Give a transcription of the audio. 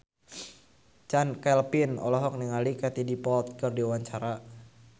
Chand Kelvin olohok ningali Katie Dippold keur diwawancara